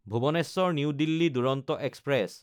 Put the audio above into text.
Bhubaneswar New Delhi Duronto express